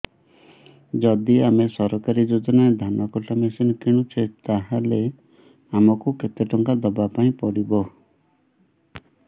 ଯଦି ଆମେ ସରକାରୀ ଯୋଜନାରେ ଧାନ କଟା ମେସିନ୍ କିଣୁଛେ ତାହାଲେ ଆମକୁ କେତେ ଟଙ୍କା ଦବାପାଇଁ ପଡିବ